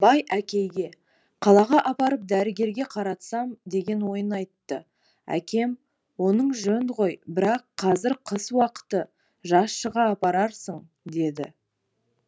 бай әкейге қалаға апарып дәрігерге қаратсам деген ойын айтты әкем оның жөн ғой бірақ қазір қыс уақыты жаз шыға апарарсың деді